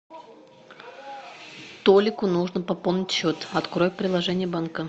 толику нужно пополнить счет открой приложение банка